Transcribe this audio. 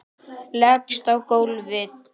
Leggst á gólfið.